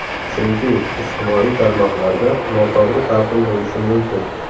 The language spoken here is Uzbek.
Chunki ijtimoiy tarmoqlarda noto‘g‘ri talqin bo‘lishi mumkin.